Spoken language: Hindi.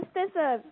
नमस्ते सर